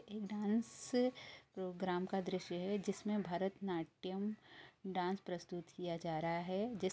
एक dance programme का दृश्य है जिसमें भरत नाट्यम डांस प्रस्तुत किया जा रहा है जिस --